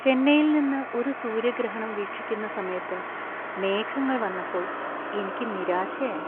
ചെന്നൈയിൽ നിന്ന് ഒരു സൂര്യഗ്രഹണം വീക്ഷിക്കുന്ന സമയത്ത് മേഘങ്ങൾ വന്നപ്പോൾ എനിക്ക് നിരാശയായി.